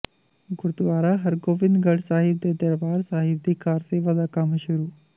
ਗੁਰਦੁਆਰਾ ਹਰਗੋਬਿੰਦਗੜ੍ਹ ਸਾਹਿਬ ਦੇ ਦਰਬਾਰ ਸਾਹਿਬ ਦੀ ਕਾਰਸੇਵਾ ਦਾ ਕੰਮ ਸ਼ੁਰੂ